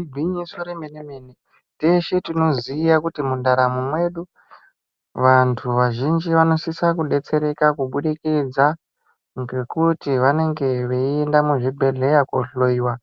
Igwinyiso remene mene teshe ti oziya kuti mundaramo mwedu vantu vazhinji vanosisa kudetsereka kubudikidza ngekuti vanenge veienda kuzvibhedhleya kohloiwa